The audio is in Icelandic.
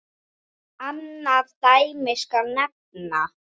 Annað dæmi skal nefna.